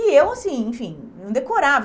E eu assim, enfim, não